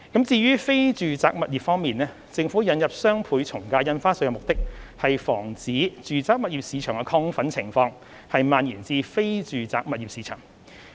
至於非住宅物業方面，政府引入雙倍從價印花稅的目的，是防止住宅物業市場的亢奮情況蔓延至非住宅物業市場。